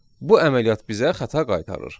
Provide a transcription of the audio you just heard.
Bu əməliyyat bizə xəta qaytarır.